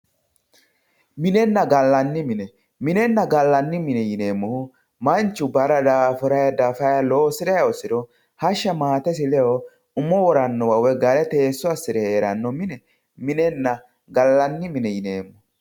minenna gallanni mine minenna gallanni mine yineemmohu manchu barra dafa daafurayi loosirayi hosiro hashsha maatesi ledo umo worannowa woyi teesso assire heerannowa minenna gallanni mine yineemmo